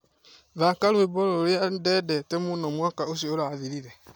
thaaka rwĩmbo rũrĩa ndendete mũno mwaka ũcio ũrathirire